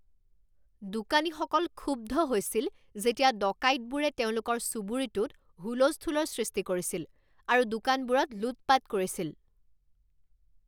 দোকানীসকল ক্ষুব্ধ হৈছিল যেতিয়া ডকাইতবোৰে তেওঁলোকৰ চুবুৰীটোত হুলস্থূলৰ সৃষ্টি কৰিছিল আৰু দোকানবোৰত লুটপাত কৰিছিল।